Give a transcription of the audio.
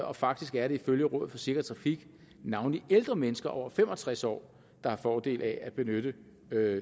og faktisk er det ifølge rådet for sikker trafik navnlig ældre mennesker over fem og tres år der har fordel af at benytte